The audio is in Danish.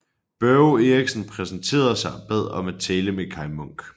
Børge Eriksen præsenterede sig og bad om at tale med Kaj Munk